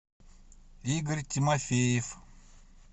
игорь тимофеев